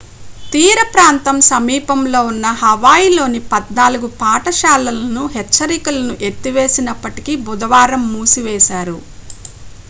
తీరప్రాంతం సమీపంలో ఉన్న హవాయిలోని పద్నాలుగు పాఠశాలలని హెచ్చరికలను ఎత్తివేసినప్పటికీ బుధవారం మూసివేశారు